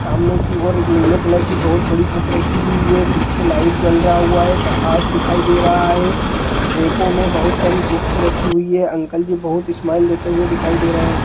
सामने की ओर एक नीले कलर की बहुत बड़ी बुक रखी हुई है| पीछे लाइट जल रहा हुआ है प्रकाश दिखाई दे रहा है| रेको में बहुत सारी बुकस रखी हुई हैं| अंकल जी बहुत स्माइल देते हुए दिखाई दे रहे हैं।